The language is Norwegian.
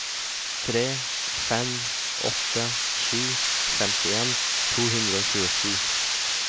tre fem åtte sju femtien to hundre og tjuesju